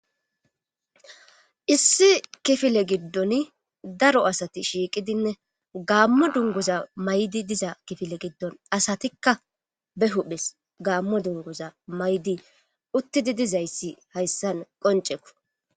Issi kifile giddoni daro asati shiiqidinne gaammo dunguza mayidi diza kifile giddon asatikka be huphes gamo dunguza mayidi uththidi dizayssi hayssan qonccekko.